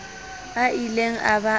a ileng a ba a